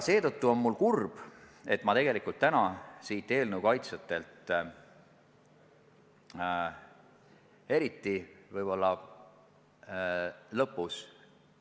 Seetõttu on kurb, et me tegelikult täna siin seaduse kaitsjatelt midagi uut ei kuulnud.